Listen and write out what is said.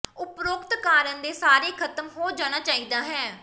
ਉਪਰੋਕਤ ਕਾਰਨ ਦੇ ਸਾਰੇ ਖਤਮ ਹੋ ਜਾਣਾ ਚਾਹੀਦਾ ਹੈ